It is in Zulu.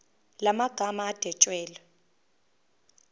la magama adwetshelwe